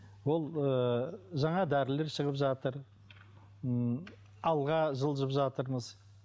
ол ыыы жаңа дәрілер шығып жатыр м алға жылжып жатырмыз